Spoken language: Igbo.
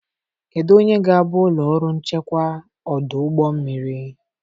Kedu onye ga-abụ ụlọ ọrụ nchekwa ọdụ ụgbọ mmiri?